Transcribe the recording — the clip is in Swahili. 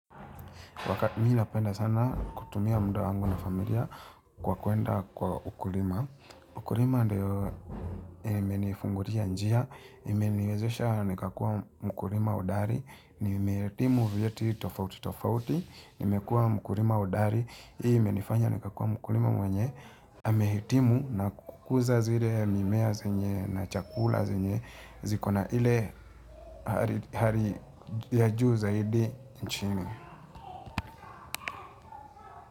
Wakati ii napenda sana kutumia muda wangu na familia kwa kuenda kwa ukulima ukulima ndio imenifungulia njia imeniwezesha nikakua mkulima hodari, nimehitimu vyeti tofauti tofauti, nimekua mkulima hodari, hii imenifanya nikakua mkulima mwenye amehitimu na kukuza zile mimea zenye na chakula zenye zikona hali ya juu zaidi nchini.